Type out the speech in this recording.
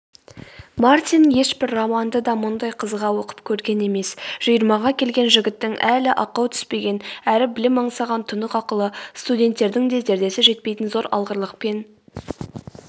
мартин ешбір романды да мұндай қызыға оқып көрген емес жиырмаға келген жігіттің әлі ақау түспеген әрі білім аңсаған тұнық ақылы студенттердің де зердесі жетпейтін зор алғырлықпен